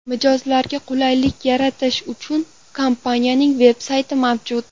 Mijozlarga qulaylik yaratish uchun kompaniyaining veb-sayti mavjud.